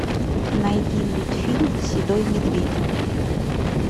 найди мультфильм седой медведь